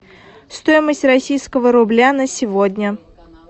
стоимость российского рубля на сегодня